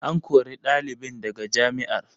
An kori ɗalibin daga jami'ar.